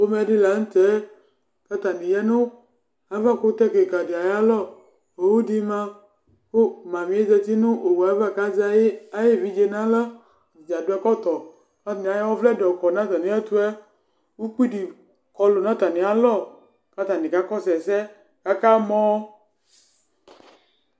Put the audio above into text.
Ɛmɛə lɛ ɛtufuɛ Atani eku alɛ nu ekualɛ Ama sapopo nu ayɛtu, ugbata wlã Ku atani zà, ku aɖu awu wɛ Ɛdini ewu ɛku fue, ku ɛkutɛ kik